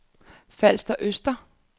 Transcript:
Falster Østre